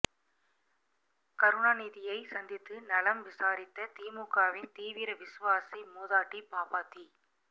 கருணாநிதியைச் சந்தித்து நலம் விசாரித்த திமுகவின் தீவிர விசுவாசி மூதாட்டி பாப்பாத்தி